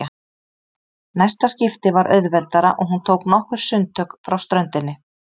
Næsta skipti var auðveldara og hún tók nokkur sundtök frá ströndinni.